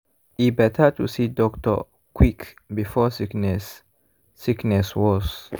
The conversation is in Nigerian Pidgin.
e better to see doctor quick before sickness sickness worse.